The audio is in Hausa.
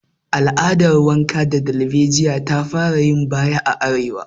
Al'adar wanka da darbejiya ta fara yin baya a arewa